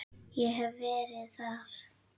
Ég hef verið þar.